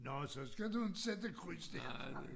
Nårh så skal du inte sætte kryds dér